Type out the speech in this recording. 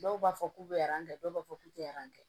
Dɔw b'a fɔ k'u bɛ dɔw b'a fɔ k'u tɛ aran tɛ